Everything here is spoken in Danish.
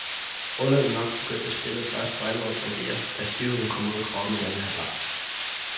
Underligt nok begyndte spillet først for alvor at fungere, da stivheden kom ud af kroppen i anden halvleg.